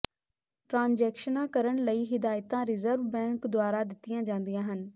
ਟ੍ਰਾਂਜੈਕਸ਼ਨਾਂ ਕਰਨ ਲਈ ਹਿਦਾਇਤਾਂ ਰਿਜ਼ਰਵ ਦੁਆਰਾ ਦਿੱਤੀਆਂ ਜਾਂਦੀਆਂ ਹਨ